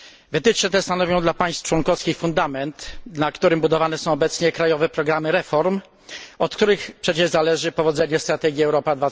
Wytyczne te stanowią dla państw członkowskich fundament, na którym budowane są obecnie krajowe programy reform, od których przecież zależy powodzenie strategii Europa